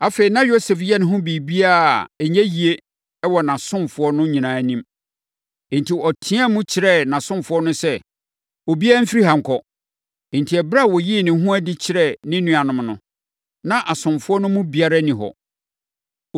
Afei, na Yosef yɛ ne ho biribiara a, ɛnyɛ yie wɔ nʼasomfoɔ no nyinaa anim. Enti, ɔteaam kyerɛɛ nʼasomfoɔ no sɛ, “Obiara mfiri ha nkɔ.” Enti, ɛberɛ a ɔyii ne ho adi kyerɛɛ ne nuanom no, na asomfoɔ no mu biara nni hɔ.